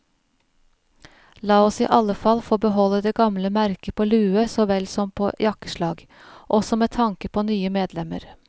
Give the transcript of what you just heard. La oss i alle fall få beholde det gamle merket på lue så vel som på jakkeslag, også med tanke på nye medlemmer.